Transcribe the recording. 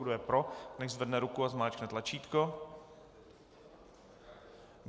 Kdo je pro, nechť zvedne ruku a zmáčkne tlačítko.